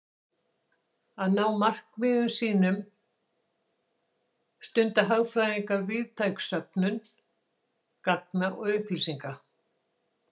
Til að ná markmiðum sínum stunda hagfræðingar víðtæka söfnun gagna og upplýsinga.